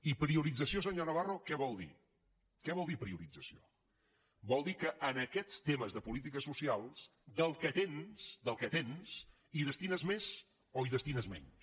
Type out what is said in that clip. i priorització senyor navarro què vol dir què vol dir priorització vol dir que a aquests temes de polítiques socials del que tens del que tens hi destines més o hi destines menys